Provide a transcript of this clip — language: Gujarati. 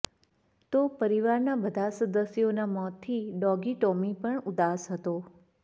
તો પરિવારના બધા સદસ્યોના મોતથી ડોગી ટોમી પણ ઉદાસ હતો